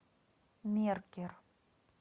меркер